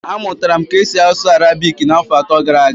Amụtara m ka esi asụ Arabiki afọ atọ gara aga